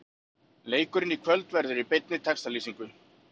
Leikurinn í kvöld verður í beinni textalýsingu.